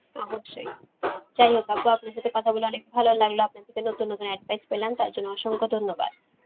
অবশ্যই, যাই হোক আপু আপনার সাথে কথা বলে অনেক ভালো লাগলো আপনার থেকে নতুন নতুন advice পেলাম তাই জন্য অসংখ্য ধন্যবাদ.